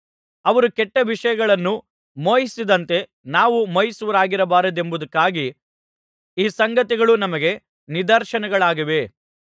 ಅವರು ಕೆಟ್ಟ ವಿಷಯಗಳನ್ನು ಮೋಹಿಸದಂತೆ ನಾವು ಮೋಹಿಸುವವರಾಗಬಾರದೆಂಬುದಕ್ಕಾಗಿ ಈ ಸಂಗತಿಗಳು ನಮಗೆ ನಿದರ್ಶನಗಳಾಗಿವೆ